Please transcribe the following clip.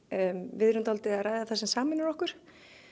við erum að ræða það sem sameinar okkur